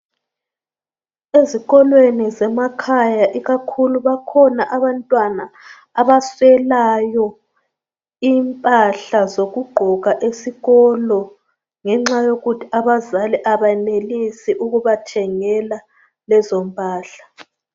Ezikolweni zemakhaya ikakhulu bakhona abantwana abaswelayo impahla zokugqoka esikolo ngenxa yokuthi abazali abenelisi ukubathengela lezo mpahla.